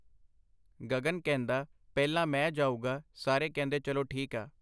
ਗਗਨ ਕਹਿੰਦਾ ਪਹਿਲਾਂ ਮੈਂ ਜਾਊਗਾ ਸਾਰੇ ਕਹਿੰਦੇ ਚਲੋ ਠੀਕਆ.